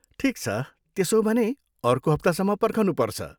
ठिक छ, त्यसो हो भने, अर्को हप्तासम्म पर्खनु पर्छ।